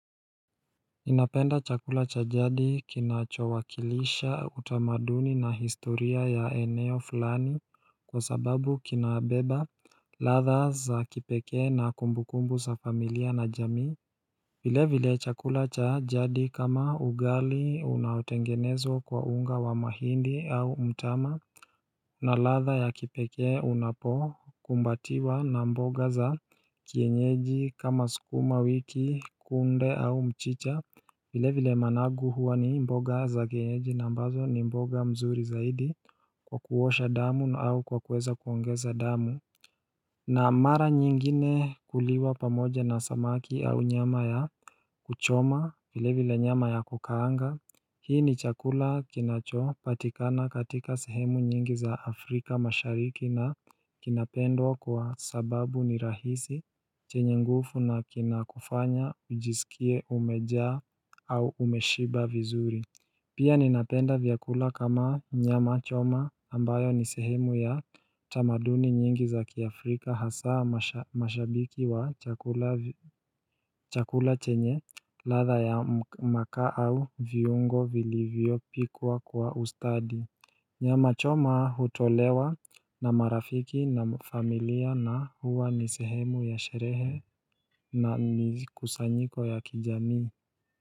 Inapenda chakula chajadi kinachowakilisha utamaduni na historia ya eneo fulani kwa sababu kinabeba ladha za kipeke na kumbukumbu za familia na jamii vile vile chakula chajadi kama ugali unaotengenezwa kwa unga wa mahindi au mtama na ladha ya kipeke unapo kumbatiwa na mboga za kienyeji kama sukuma wiki kunde au mchicha vile vile managu huwa ni mboga za kienyeji na mbazo ni mboga mzuri zaidi kwa kuosha damu au kwa kuweza kuongeza damu na mara nyingine kuliwa pamoja na samaki au nyama ya kuchoma vile vile nyama ya kukaanga Hii ni chakula kinacho patikana katika sehemu nyingi za Afrika mashariki na kinapendwa kwa sababu ni rahisi chenye ngufu na kinakufanya ujisikie umeja au umeshiba vizuri Pia ninapenda vyakula kama nyama choma ambayo nisehemu ya tamaduni nyingi za kiafrika hasaa mashabiki wa chakula chenye ladha ya makaa au viungo vili vyopikwa kwa ustadi nyama choma hutolewa na marafiki na familia na huwa nisehemu ya sherehe na kusanyiko ya kijami.